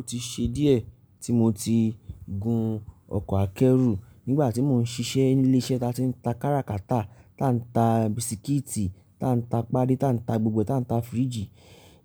Ó ti ṣe díẹ̀ tí mo ti gun ọkọ̀ akẹ́rù. Nígbà tí mò ń ṣiṣẹ́ ní ilé-iṣẹ́ ta tí ń ta káràkátà, tá ń ta bisikíìtì, tá ń ta páádí, tá ń ta gbogbo, tá ń ta fíríjì,